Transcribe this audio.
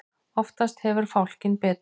Oftast hefur fálkinn betur.